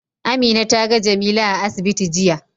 Amina ta ga Jamila a asibiti jiya.